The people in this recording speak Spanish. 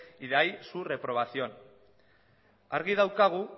y de ahí su reprobación argi daukagu